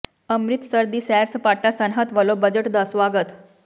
ਅੰਮ੍ਰਿਤਸਰ ਦੀ ਸੈਰ ਸਪਾਟਾ ਸਨਅਤ ਵੱਲੋਂ ਬਜਟ ਦਾ ਸਵਾਗਤ